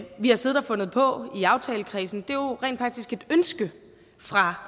vi har siddet og fundet på i aftalekredsen det er rent faktisk et ønske fra